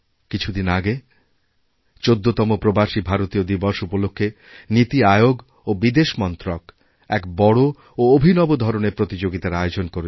কিছুদিন আগে ১৪তমপ্রবাসী ভারতীয় দিবস উপলক্ষে নীতি আয়োগ ও বিদেশ মন্ত্রক এক বড় ও অভিনব ধরনের প্রতিযোগিতার আয়োজন করেছিল